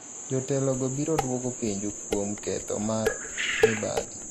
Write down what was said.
jotelo go biro duoko penjo kuom ketho mar mibadhi